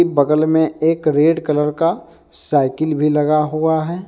बगल में एक रेड कलर का साइकिल भी लगा हुआ है।